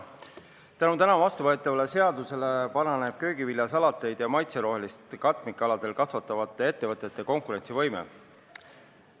Tänu täna vastuvõetavale seadusele paraneb köögivilja, salateid ja maitserohelist katmikaladel kasvatavate ettevõtete konkurentsivõime.